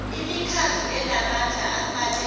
imikhandlu enamandla afanele